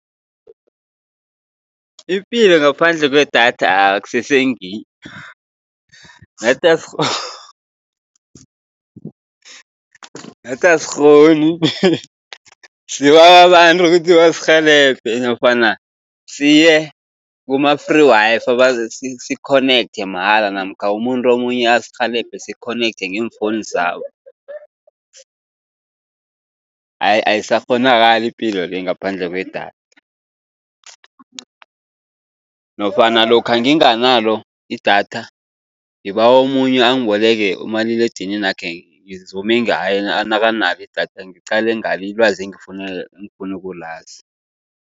Ipilo ngaphandle kwedatha akusese ngiyo, nathi nathi asikghoni sibawa abantu ukuthi basirhelebhe, nofana siye kuma-free Wi-Fi sikhonekthe mahala namkha umuntu omunye asirhelebhe sikhonekthe ngeemfowunu zabo. Ayisakghonakali ipilo le ngaphandle kwedatha, nofana lokha nginganalo idatha, ngibawa omunye angiboleke umaliledinini wakhe ngizume ngaye nakanalo idatha ngiqale ngalo ilwazi engifuna ukulazi.